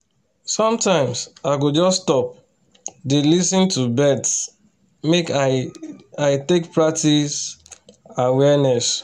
sometimes i go just stop dey lis ten to birds make i i take practice awareness